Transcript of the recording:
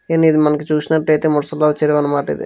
And ఇది మనకు చూసినట్టయితే మునస అన్నమాట ఇది.